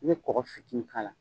I bɛ kɔkɔ fitinin k'a la.